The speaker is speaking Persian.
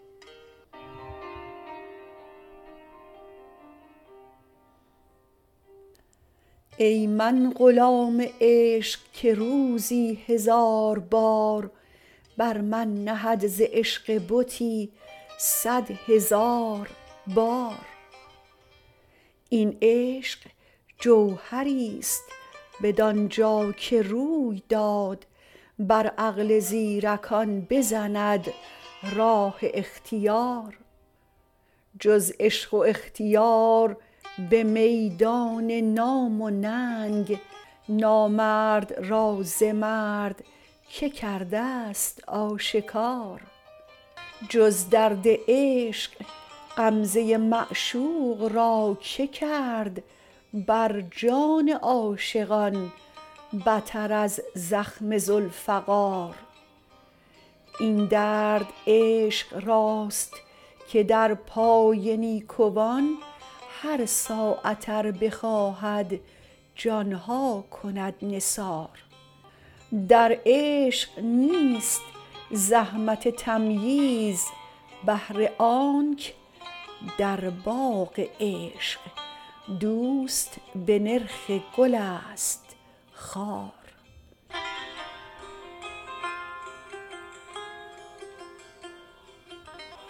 ای من غلام عشق که روزی هزار بار بر من نهد ز عشق بتی صد هزار بار این عشق جوهریست بدانجا که روی داد بر عقل زیرکان بزند راه اختیار جز عشق و اختیار به میدان نام و ننگ نامرد را ز مرد که کرده ست آشکار جز درد عشق غمزه معشوق را که کرد بر جان عاشقان بتر از زخم ذوالفقار این درد عشق راست که در پای نیکوان هر ساعت ار بخواهد جانها کند نثار در عشق نیست زحمت تمییز بهر آنک در باغ عشق دوست به نرخ گل است خار